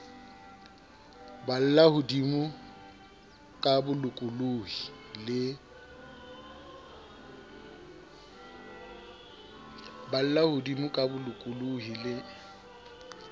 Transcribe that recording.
balla hodimo ka bolokolohi le